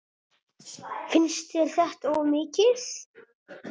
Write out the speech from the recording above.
Finnst þér þetta of mikið?